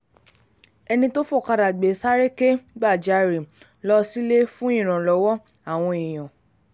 ẹni tó fọ̀kadà gbé e sáré kẹ́gbajarè um lọ sílé fún ìrànlọ́wọ́ um àwọn èèyàn